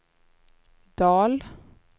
Dahl